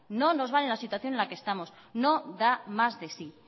no nos vale en la situación en la que estamos no da más de sí